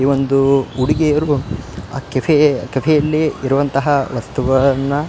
ಈ ಒಂದು ಹುಡಿಗಿಯರ್ಗು ಆ ಕೆಫೆ ಯಲ್ಲಿ ಇರುವಂತಹ ವಸ್ತುಗಳನ್ನ --